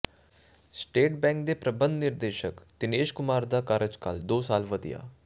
state Bank ਦੇ ਪ੍ਰਬੰਧ ਨਿਰਦੇਸ਼ਕ ਦਿਨੇਸ਼ ਕੁਮਾਰ ਦਾ ਕਾਰਜਕਾਲ ਦੋ ਸਾਲ ਵਧਿਆ